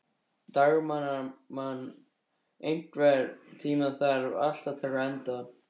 Dagmann, einhvern tímann þarf allt að taka enda.